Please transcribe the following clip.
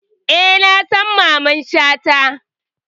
Eh, na san Mamman Shata